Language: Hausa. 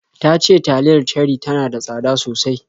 Ta ce taliyar Cherie tana da tsada sosai